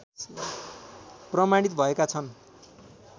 प्रमाणित भएका छन्